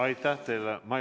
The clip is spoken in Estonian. Aitäh teile!